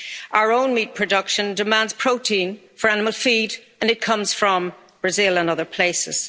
Our own meat production demands protein for animal feed and it comes from Brazil and other places.